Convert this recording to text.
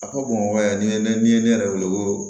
A ko bamakɔ yan ne ye ne yɛrɛ wele ko